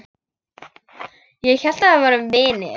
Ég hélt við værum vinir.